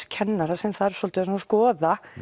kennara sem þarf svolítið að skoða